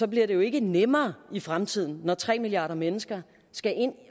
bliver det jo ikke nemmere i fremtiden når tre milliarder mennesker skal ind at